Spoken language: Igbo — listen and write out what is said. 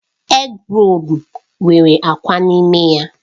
Égrolu nwere akwa n'ime ya.